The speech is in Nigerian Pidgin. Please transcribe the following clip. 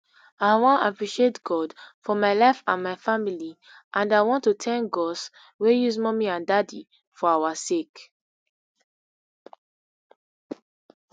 i wan appreciate god for my life and my family and i want to thank gos wey use mummy and daddy for our sake